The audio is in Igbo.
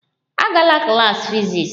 Agala klas fiziks!